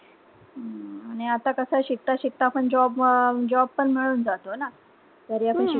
अं आता कस शिकता शिकता पण job अह job पण मिळून जातोय ना